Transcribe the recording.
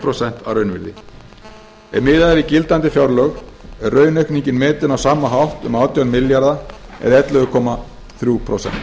prósent að raunvirði ef miðað er við gildandi fjárlög er raunaukningin metin á sama hátt um átján milljarðar eða ellefu komma þrjú prósent